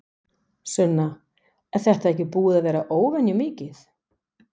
Sunna: Er þetta ekki búið að vera óvenju mikið?